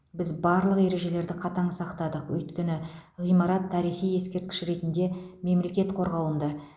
біз барлық ережелерді қатаң сақтадық өйткені ғимарат тарихи ескерткіш ретінде мемлекет қорғауында